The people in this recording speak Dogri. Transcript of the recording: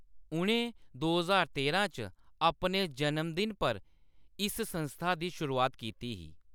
उʼनें दो ज्हार तेरां च अपने जनम दिन पर इस संस्था दी शुरुआत कीती ही।